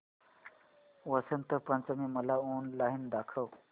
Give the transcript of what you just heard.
वसंत पंचमी मला ऑनलाइन दाखव